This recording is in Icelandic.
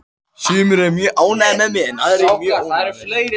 Sumir eru mjög ánægðir með mig en aðrir mjög óánægðir.